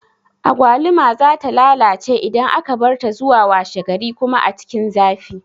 Agwaluma za ta lalace idan aka barta zuwa washe gari kuma a cikin zafi